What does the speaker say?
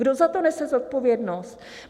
Kdo za to nese zodpovědnost?